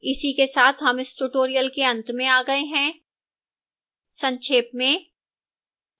इसी के साथ हम इस tutorial के अंत में आ गए हैं संक्षेप में